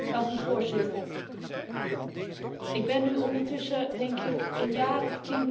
Ik ben nu ondertussen, denk ik, een jaar of tien betrokken bij de situatie in Zimbabwe.